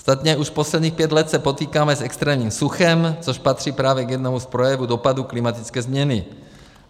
Ostatně už posledních pět let se potýkáme s extrémním suchem, což patří právě k jednomu z projevů dopadů klimatické změny.